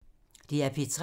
DR P3